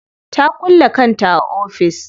Ta kulle kanta a cikin ofis.